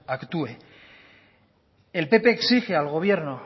actúe el pp exige al gobierno